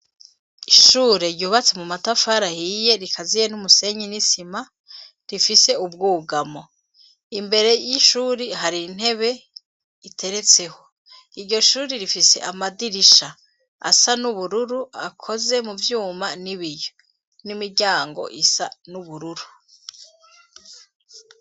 Ishure ryubatse mu matafara ahiye rikaziye n'umusenyi n'isima rifise ubwugamo, imbere y'ishuri hari intebe iteretseho, iryo shuri rifise amadirisha asa n'ubururu akoze mu vyuma n'ibiyo, n'imiryango isa n'ubururu.